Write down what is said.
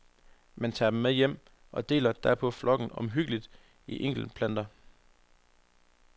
Man tager dem med hjem og deler derpå flokken omhyggeligt i enkeltplanter.